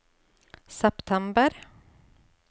september